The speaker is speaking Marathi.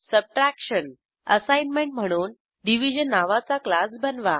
सबट्रॅक्शन असाईनमेंट म्हणून डिव्हिजन नावाचा क्लास बनवा